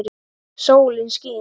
Sólin skín.